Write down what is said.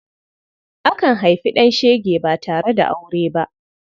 Akan haifi ɗan shege ba tare da aure ba.